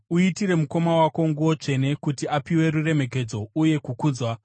Uitire mukoma wako nguo tsvene, kuti apiwe ruremekedzo uye kukudzwa.